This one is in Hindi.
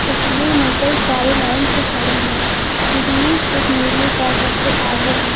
तस्वीर में कई कारे लाइन से खड़ी है जिनमें एक नीली कार सबसे आगे है।